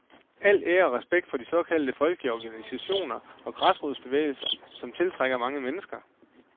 Al ære og respekt for de såkaldte folkelige organisationer og græsrodsbevægelser, som tiltrækker mange mennesker.